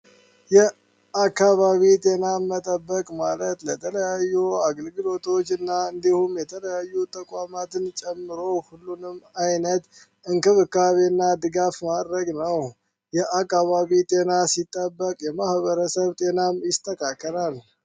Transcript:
የአካባቢ ጤና መጠበቅ ማለት ለተለያዩ አገልግሎቶች እና እንዲሁም የተለያዩ ተቋማትን ጨምሮ ሁሉንም አይነት እንክብካቤ እና ድጋፍ ማድረግ ነው። የአካባቢ ጤና ሲጠበቅ የማህበረሰብ ጤናም ይስተካከል።